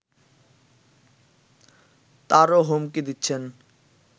তারও হুমকি দিচ্ছেন